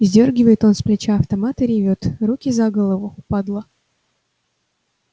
сдёргивает он с плеча автомат и ревёт руки за голову падла